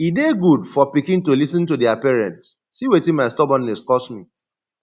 e dey good for pikin to lis ten to their parents see wetin my stubbornness cause me